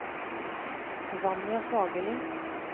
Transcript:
Vanja Fagerli